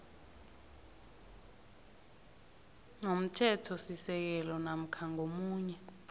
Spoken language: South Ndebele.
nomthethosisekelo namkha ngomunye